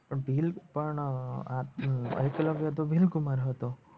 ભીલ પણ અ આ હમ ભીલકુમાર હતો